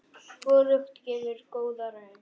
Hvorugt gefur góða raun.